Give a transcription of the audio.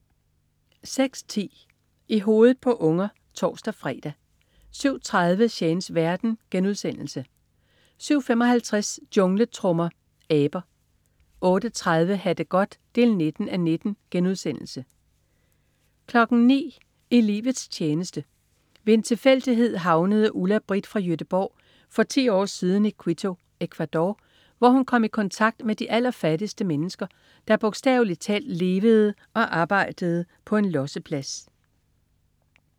06.10 I hovedet på unger (tors-fre) 07.30 Shanes verden* 07.55 Jungletrommer. Aber 08.30 Ha' det godt 19:19* 09.00 I livets tjeneste. Ved en tilfældighed havnede Ulla-Brita fra Göteborg for 10 år siden i Quito, Ecuador, hvor hun kom i kontakt med de allerfattigste mennesker, der bogstaveligt talt levede og arbejdede på en losseplads